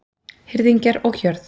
Hirðingjar og hjörð